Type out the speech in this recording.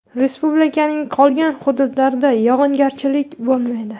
Respublikaning qolgan hududlarida yog‘ingarchilik bo‘lmaydi.